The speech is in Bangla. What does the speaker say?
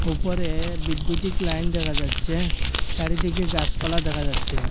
উপরে বিদ্যুতিক লাইন দেখা যাচ্ছে চারিদিকে গাসপালা দেখা যাচ্ছে।